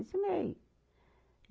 Ensinei.